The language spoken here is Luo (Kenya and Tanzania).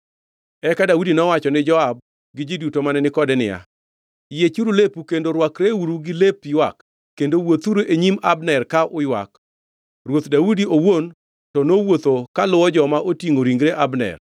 Eka Daudi nowacho ni Joab gi ji duto mane ni kode niya, “Yiechuru lepu kendo rwakreuru gi lep ywak kendo wuothuru e nyim Abner ka uywak.” Ruoth Daudi owuon to nowuotho kaluwo joma otingʼo ringre Abner.